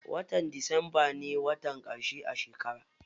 Watan disamba ne watan ƙarshe a shekara.